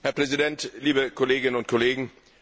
Herr Präsident, liebe Kolleginnen und Kollegen!